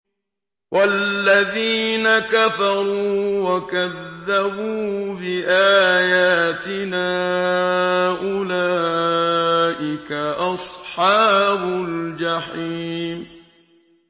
وَالَّذِينَ كَفَرُوا وَكَذَّبُوا بِآيَاتِنَا أُولَٰئِكَ أَصْحَابُ الْجَحِيمِ